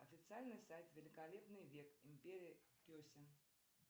официальный сайт великолепный век империя кесем